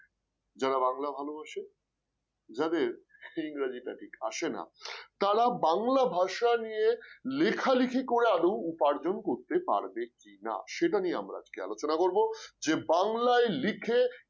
যারা বাংলা ভালোবাসে যাদের ইংরেজিটা ঠিক আসে না তারা বাংলা ভাষা নিয়ে লেখালেখি করে আদৌ উপার্জন করতে পারবেকি না, সেটা নিয়ে আমরা আজকে আলোচনা করব যে বাংলায় লিখে